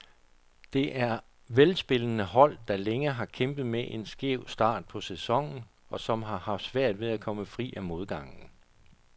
Det er velspillende hold, der længe har kæmpet med en skæv start på sæsonen, og som har haft svært ved at komme fri af modgangen.